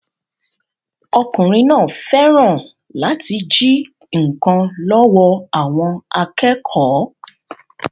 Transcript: Ọkùnrin náà fẹ́ràn láti jí nkan lọ́wọ́ àwọn akẹ́kọ̀ọ́